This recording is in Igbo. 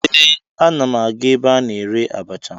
Ee, ana m aga ebe a na-ere abacha